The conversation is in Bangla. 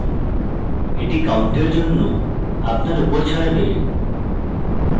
এটি count জন্য আপনার উপর ছাড়বে